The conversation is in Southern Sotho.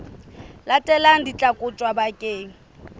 latelang di tla kotjwa bakeng